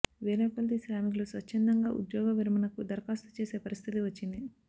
వేలకొలది శ్రామికులు స్వచ్ఛందంగా ఉద్యోగ విరమణకు దరఖాస్తు చేసే పరిస్థితి వచ్చింది